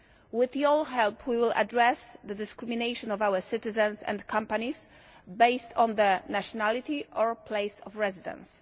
With your help we will address the discrimination against our citizens and companies based on their nationality or place of residence.